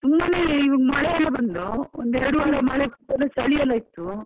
ತುಂಬಾನೇ ಮಳೆಯೆಲ್ಲಾ ಬಂದು ಒಂದು ಎರಡು ವಾರ ಮಳೆಗೆ ಚಲಿಯೆಲ್ಲಾ ಇತ್ತು.